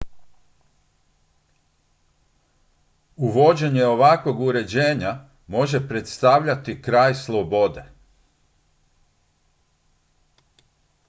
uvođenje ovakvog uređenja može predstavljati kraj slobode